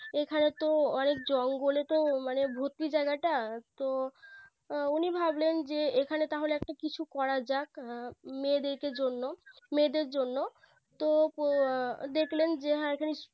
এখানে তো অনেক জঙ্গলে তো মানে ভুতুরে জায়গাটা তো উনি ভাবলেন যে এখানে তাহলে একটা কিছু করা যাক মেয়েদেরকে জন্য মেয়েদের জন্য তো দেখলেন হ্যাঁ